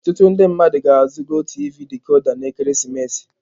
Ọtụtụ ndị mmadụ ga-azụ GOTV dikoda n'ekeresimesi a.